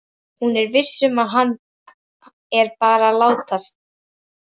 Hún er viss um að hann er bara að látast.